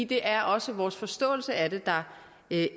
det er også vores forståelse af det der